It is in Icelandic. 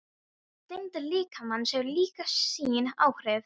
Þyngd líkamans hefur líka sín áhrif.